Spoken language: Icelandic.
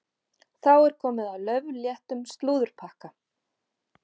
Þá er komið að laufléttum slúðurpakka.